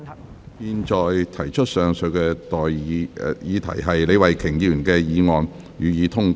我現在向各位提出的待議議題是：李慧琼議員動議的議案，予以通過。